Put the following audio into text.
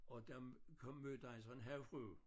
Og der kom mødte han så en havfrue